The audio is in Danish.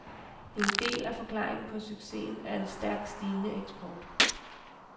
En del af forklaringen på succesen er en stærkt stigende eksport.